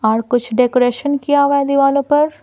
और कुछ डेकोरेशन किया हुआ है दीवालों पर--